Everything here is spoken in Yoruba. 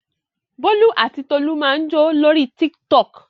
Bólú àti Tolú máa ń jó lórí Tiktok.